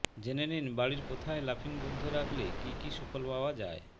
জেনে নিন বাড়ির কোথায় লাফিং বুদ্ধ রাখলে কী কী সুফল পাওয়া যায়